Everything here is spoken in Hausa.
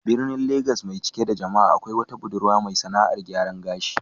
A cikin birnin Legas mai cike da jama'a, akwai wata budurwa mai sAna'ar gyaran gashi